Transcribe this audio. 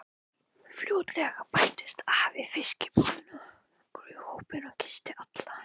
Fljótlega bættist afi í fiskbúðinni í hópinn og kyssti alla.